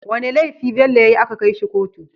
Wane lefi Bello yayi aka kai shi kotu?